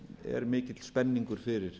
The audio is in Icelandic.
er mikill spenningur fyrir